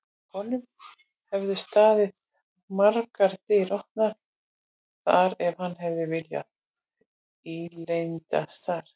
Honum hefðu staðið margar dyr opnar þar ef hann hefði viljað ílendast þar.